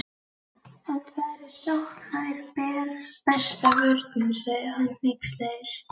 En þar eð sókn er besta vörnin, sagði hann hneykslaður